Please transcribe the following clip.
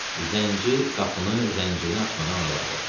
Zənci qapını zəncirinə açmadan araladı.